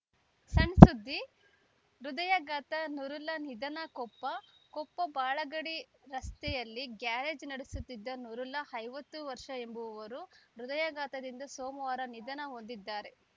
ಸಣ್‌ ಸುದ್ದಿ ಹೃದಯಾಘಾತ ನೂರುಲ್ಲಾ ನಿಧನ ಕೊಪ್ಪ ಕೊಪ್ಪ ಬಾಳಗಡಿ ರಸ್ತೆಯಲ್ಲಿ ಗ್ಯಾರೇಜ್‌ ನಡೆಸುತ್ತಿದ್ದ ನೂರುಲ್ಲಾ ಐವತ್ತು ಎಂಬುವವರು ಹೃದಯಾಘಾತದಿಂದ ಸೋಮವಾರ ನಿಧನ ಹೊಂದಿದ್ದಾರೆ